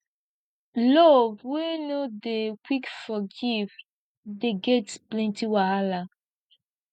love wey no dey quick forgive dey get plenty wahala